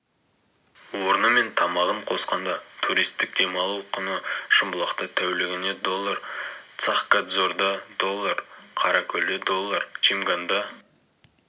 орны мен тамағын қосқанда туристік демалу құны шымбұлақта тәулігіне доллар цахкадзорда доллар қаракөлде доллар чимганда